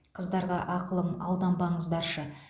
қыздарға ақылым алданбаңыздаршы